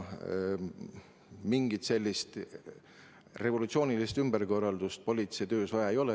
Mingit sellist revolutsioonilist ümberkorraldust politseitöös vaja ei ole.